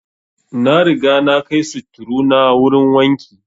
Na riga na kai sutturu na wurin wanki